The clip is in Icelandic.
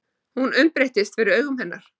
Hún umbreytist fyrir augum hennar.